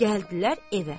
Gəldilər evə.